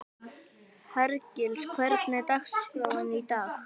Hergils, hvernig er dagskráin í dag?